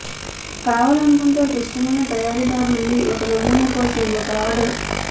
కావాలనుకుంటే ఒక ఇష్టమైన తయారీదారు నుండి ఒక నమూనా కోసం ఒక ఆర్డర్